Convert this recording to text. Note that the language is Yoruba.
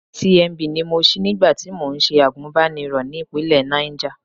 FCMB ni mo ṣí nígbà tí mò ń ṣe àgùnbánirọ̀ ní ìpínlẹ̀ Náìjà.